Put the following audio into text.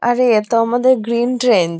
আরে এ তো আমাদের গ্রীন ট্রেন্ডস ।